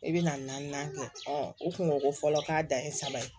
I bɛna naaninan kɛ o kungoko fɔlɔ k'a dan ye saba ye